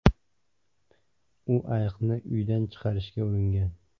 U ayiqni uydan chiqarishga uringan.